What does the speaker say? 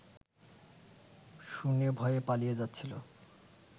শুনে ভয়ে পালিয়ে যাচ্ছিল